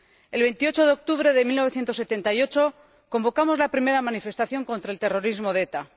El 28 de octubre de 1978 convocamos la primera manifestación contra el terrorismo de ETA.